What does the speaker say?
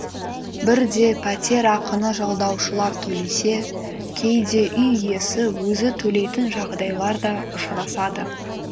бірде пәтерақыны жалдаушылар төлесе кейде үй иесі өзі төлейтін жағдайлар да ұшырасады